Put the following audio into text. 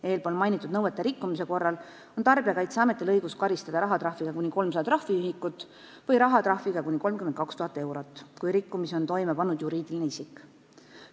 Eespool mainitud nõuete rikkumise korral on Tarbijakaitseametil õigus karistada rahatrahviga kuni 300 trahviühikut ja kui rikkumise on toime pannud juriidiline isik, siis rahatrahviga kuni 32 000 eurot.